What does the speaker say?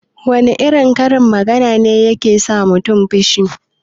Wana irin karin magana ne yake sa mutun fushi?